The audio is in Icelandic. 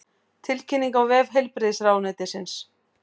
Tilkynningin á vef heilbrigðisráðuneytisins